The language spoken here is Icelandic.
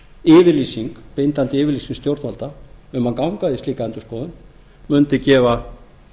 yfirlýsing bindandi yfirlýsing til stjórnvalda um að ganga í slíka endurskoðun mundi gefa